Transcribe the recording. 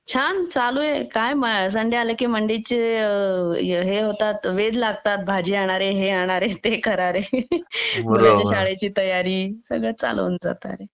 छान चालू आहे संडे आला की मंडे ची हे होतात वेध लागतात भाजी आणा रे हे आणा रे ते करा रे मुलांच्या शाळेची तयारी सगळं चालू होऊन जात अरे